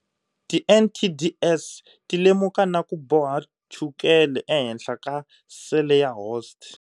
Ti NTDs ti lemuka naku boha chukele ehenhla ka sele ya host.